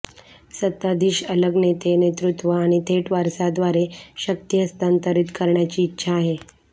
सत्ताधीश अलग नेते नेतृत्व आणि थेट वारसा द्वारे शक्ती हस्तांतरित करण्याची इच्छा आहे